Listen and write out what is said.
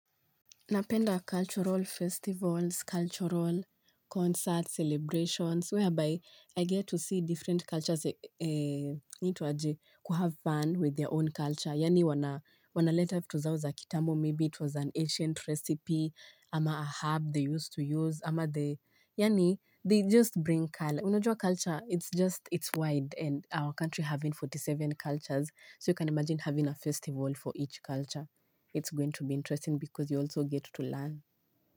Napenda cultural festivals, cultural concerts, celebrations, whereby I get to see different cultures, inaitwaje, kuhave fun with their own culture. Yaanj wanaleta vitu zao za kitambo maybe it was an ancient recipe ama herb they used to use ama the yaani they bring culture unajuaculture it wide sobyou can imagine having tge arobaini na saba counties each with culture it's going to be interesting because you also get to learn.